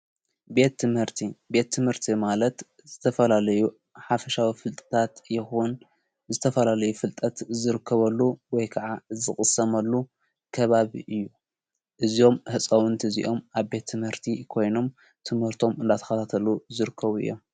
ቤት ትመርቲ ቤት ትምህርቲ ማለት ዝተፈላልዩ ሓፍሻዊ ፍልጥታት ይኹን ዝተፈላልዩ ፍልጠት ዝርክበሉ ወይ ከዓ ዝቕሰመሉ ከባብ እዩ እዝኦም ሕፃውንቲ እዚኦም ኣብ ቤቲ መህርቲ ይኮይኖም ትመህርቶም እንላትኻታተሉ ዝርከቡ እዮም።